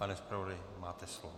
Pane zpravodaji, máte slovo.